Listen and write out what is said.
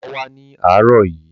Bàbá wá ní àárọ̀ yìí.